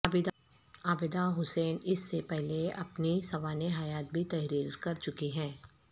عابدہ حسین اس سے پہلے اپنی سوانح حیات بھی تحریر کر چکی ہیں